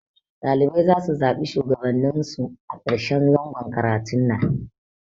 Ɗalibai zasu zaɓi Shugabannin su a karshen zangon karatun nan